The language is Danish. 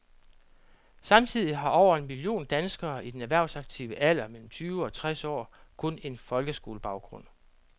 Samtidig har over en million danskere i den erhvervsaktive alder mellem tyve og tres år kun en folkeskolebaggrund.